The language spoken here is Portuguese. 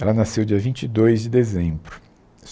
Ela nasceu dia vinte e dois de dezembro.